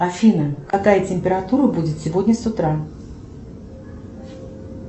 афина какая температура будет сегодня с утра